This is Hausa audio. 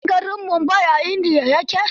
Ka san garin Mumbai a India ya ke?